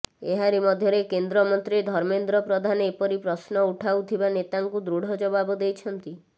ଏହାରି ମଧ୍ୟରେ କେନ୍ଦ୍ର ମନ୍ତ୍ରୀ ଧର୍ମେନ୍ଦ୍ର ପ୍ରଧାନ ଏପରି ପ୍ରଶ୍ନ ଉଠାଉଥିବା ନେତାଙ୍କୁ ଦୃଢ ଜବାବ ଦେଇଛନ୍ତି